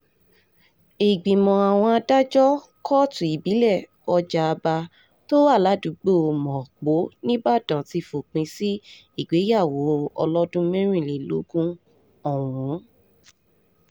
ìgbìmọ̀ àwọn adájọ́ kóòtù ìbílẹ̀ ọ̀jábá tó wà ládùúgbò mapo nibodàn ti fòpin sí ìgbéyàwó ọlọ́dún mẹ́rìnlélógún ọ̀hún